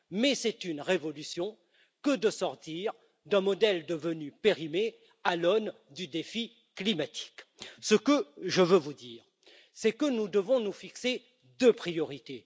Mais c'est une révolution que de sortir d'un modèle devenu périmé à l'aune du défi climatique. Ce que je veux vous dire, c'est que nous devons nous fixer deux priorités.